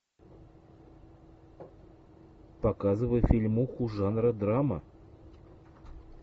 показывай фильмуху жанра драма